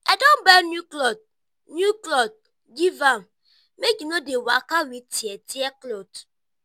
i don buy new clot new clot give am make e no dey waka wit tear-tear clot.